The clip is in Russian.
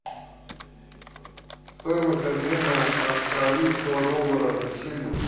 стоимость обмена австралийского доллара в шиллинг